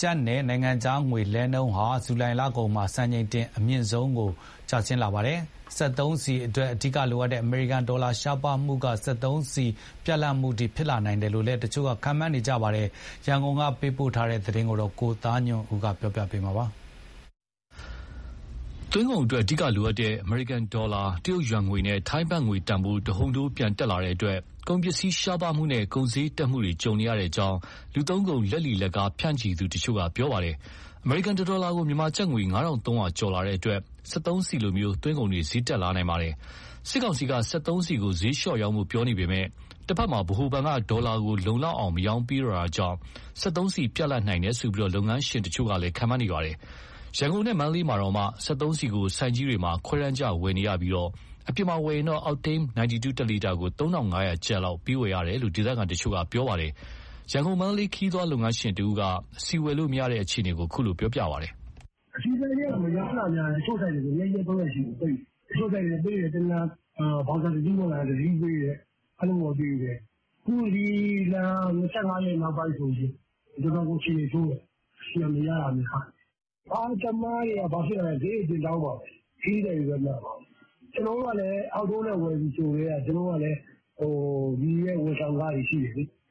ကျပ်နဲ့ နိုင်ငံခြားငွေလဲလှယ်နှုန်းဟာ ဇူလိုင်လကုန်ပိုင်းမှာ စံချိန်တင်အမြင့်ဆုံးကိုရောက်လာပါတယ်။ စက်သုံးဆီအတွက်အဓိကလိုအပ်တဲ့ အမေရိကန်ဒေါ်လာရှားပါးမှုက စက်သုံးဆီပြတ်လပ်မှုအထိ ဖြစ်လာနိုင်တယ်လို့လည်း တချို့က ခန့်မှန်းနေကြပါတယ်။ ရန်ကုန်က သတင်းပေးပို့ချက်ကို ကိုသားညွန့်ဦးက တင်ပြပေးထားပါတယ်။ သွင်းကုန်အတွက် အဓိကလိုအပ်တဲ့ အမေရိကန်ဒေါ်လာ၊ တရုတ်ယွမ်နဲ့ ထိုင်းဘတ်ငွေစျေး တဟုန်ထိုးပြန်တက်လာတဲ့တွက် ကုန်ပစ္စည်းရှားပါးမှုနဲ့ ကုန်စျေးတက်လာနေတာကိုကြုံနေရကြောင်း လူသုံးကုန် လက်လီ၊ လက်ကားဖြန့်သူတချို့က ပြောပါတယ်။ အမေရိကန်တဒေါ်လာကို မြန်မာကျပ်ငွေ ၅,၃၀၀ ကျော်လာတဲ့အတွက် စက်သုံးဆီလိုသွင်းကုန်တွေ စျေး တက်လာနိုင်တာပါ။ စစ်ကောင်စီက စက်သုံးဆီကို စျေးလျှော့ရောင်းဖို့ပြောနေပေမဲ့ တဘက်မှာ ဗဟိုဘဏ်က ဒေါ်လာကိုလုံလောက်အောင် ရောင်းမပေးတော့တာကြောင့် စက်သုံးဆီပြတ်လပ်နိုင်တယ်ဆိုပြီး လုပ်ငန်းရှင်တချို့ကလည်း ခန့်မှန်းနေပါတယ်။ ရန်ကုန်နဲ့မန္တလေးမှာတောင် စက်သုံးဆီကို ဆိုင်ကြီးတွေမှာခွဲတမ်းကျဝယ်နေရပြီး အပြင်မှာ ဝယ်ရင်တော့ အောက်တိန်း (92) တလီတာကို ၃,၅၀၀ ကျပ် လောက်ပေးဝယ်ရကြောင်း ဒေသခံတချို့က ပြောပါတယ်။ ရန်ကုန်-မန္တလေး ခရီးသွားလုပ်ငန်းရှင်တဦးက ဆီဝယ်လို့မရတဲ့အခြေအနေကို ပြောပြပါတယ်။ "ဆီဆိုင်တွေက မရောင်းတာများတယ်၊ တချို့ဆိုင်တွေဆို ၂ ရက်- ၃ ရက်ရှိပြီ ပိတ်ထားတာ။ တချို့ဆိုင်တွေက ကားတစီး ဝင်လာရင် တစီး၊ ဘောက်စာတစီးဝင်လာရင်တစီး အဲလိုပဲပေးတယ်။ အခုဒီလ ၂၅ ရက်နောက်ပိုင်းဆို တော်တော်ကို အခြေအနေဆိုးတယ်။ ဆီက မရတာကများတယ်။ ကားသမားတွေက ဘာဖြစ်လာလဲဆိုတော့ စျေးတွေ တင်တောင်းမှာပဲ။ ခရီးသည်တွေပဲ နာမှာပဲ။ ကျနော်တို့ကလည်း အပြင်မှာ ဝယ်ပြီဆိုကတည်းက လူရဲ့ဝန်ဆောင်ခတွေ ရှိတယ်လေ။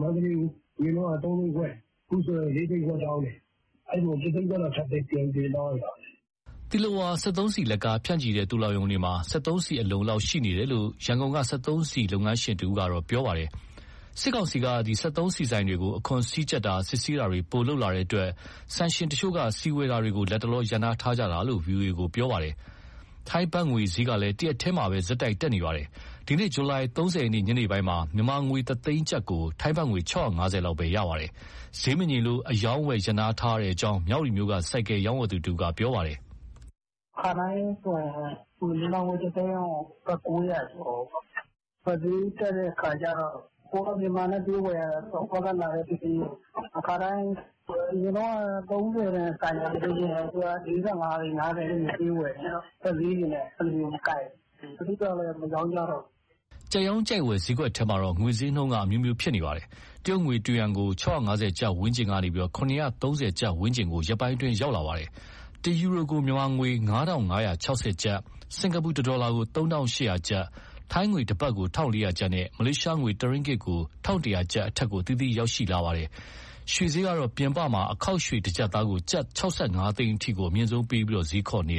မန္တလေး အရင်တုန်းက ၃ သိန်းခွဲ၊ အခုဆို ၄ သိန်းခွဲတောင်းတယ်။ အဲဒီလို တသိန်းခွဲလောက် ပြန်တင်တောင်းလိုက်တာပဲ။" သီလဝါ စက်သုံးဆီလက်ကား ဖြန့်ချီတဲ့သိုလှောင်ရုံတွေမှာ စက်သုံးဆီ အလုံအလောက်ရှိနေတယ်လို့ ရ န်ကုန်က စက်သုံးဆီဆိုင် လုပ်ငန်းရှင်တဦးက ပြောပါတယ်။ စစ်ကောင်စီက စက်သုံးဆီဆိုင်တွေကို အခွန်စည်းကျပ်တာ၊ စစ်ဆေးတာတွေ ပိုလုပ်လာတဲ့အတွက် ဆိုင်ရှင်တချို့က ဆီဝယ်ယူတာကို လက်တလော ရပ်နားထားကြတာလို့ ဗွီအိုအေကို ပြောပါတယ်။ ထိုင်းဘတ်ငွေစျေးကလည်း တရက်တည်းမှာပဲ ဆက်တိုက် တက်နေတာပါ။ ဒီနေ့ ဇူလိုင် ၃၀ ရက် ညနေပိုင်းမှာတော့ မြန်မာငွေတသိန်းကျပ်ကို ထိုင်းဘတ်ငွေ ၆၅၀ လောက်ပဲ ရှိပါတယ်။ စျေးမငြိမ်လို့ အရောင်းအဝယ်ရပ်နားထားရကြောင်း မြဝတီမြို့က ဆိုင်ကယ်ရောင်းဝယ်သူတဦးက ပြောပါတယ်။ " ခါတိုင်းဆို မြန်မာငွေတသိန်းကို ဘတ် ၉၀၀ ကျော်ပေါ့။ ဘတ်စျေးတက်တဲ့အခါကျတော့ ကိုယ်က မြန်မာ (ငွေ) နဲ့ ပေးဝယ်ရတာဆိုတော့ ဟိုဘက်ကလာတဲ့ပစ္စည်းကို အရင်တုန်းက (သိန်း) ၃၀ တန်ဆိုင်ကယ်တစီးကို အခုက ၄၅-၅၀ တွေ ပေးဝယ်နေရတယ်။ ဘတ်စျေးတွေနဲ့ မကိုက်ဘူး။ တချို့ကျတော့ မရောင်းကြတော့ဘူး။" ကြိုက်ရောင်းကြိုက်ဝယ် စျေးကွက်ထဲမှာတော့ ငွေစျေးနှုန်းက အမျိုးမျိုး ဖြစ်ပေါ်နေပါတယ်။ တရုတ်ငွေ တယွမ်ကို ၆၅၀ ကျပ်ဝန်းကျင်ကနေ ၇၃၀ ကျပ်ဝန်းကျင်ကို ရက်ပိုင်းအတွင်း ရောက်လာပါတယ်။ တယူရိုကို မြန်မာငွေ ၅,၅၆၀ ကျပ်၊ စင်္ကာပူတဒေါ်လာကို ၃,၈၀၀ ကျပ်၊ ထိုင်းငွေတဘတ်ကို ၁,၄၀ ကျပ်နဲ့ မလေးရှားငွေ တရင်းဂစ်ကို ၁,၁၀၀ ကျပ် အထက်ကို အသီးသီး ရောက်ရှိလာတာပါ။ ရွှေစျေးကတော့ ပြင်ပမှာ အခေါက်ရွှေ တကျပ်သားကို ကျပ် ၆၅ သိန်းအထိ အမြင့်ဆုံးပေးပြီး စျေးခေါ်နေကြပါတယ်။